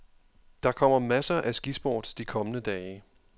Der kommer masser af skisport de kommende dage.